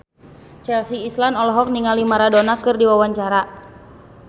Chelsea Islan olohok ningali Maradona keur diwawancara